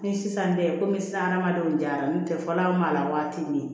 Ni sisan tɛ komi sisan hadamadenw jara n'o tɛ fɔlɔ mala waati min